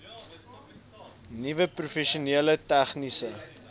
nuwe professioneel tegniese